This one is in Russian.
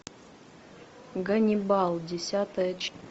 ганнибал десятая часть